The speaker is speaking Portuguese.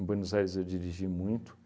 Em Buenos Aires eu dirigi muito.